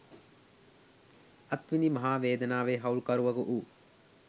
අත් විඳි මහා වේදනාවේ හවුල්කරුවකු වූ